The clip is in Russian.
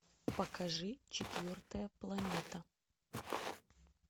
покажи четвертая планета